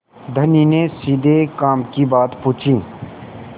धनी ने सीधे काम की बात पूछी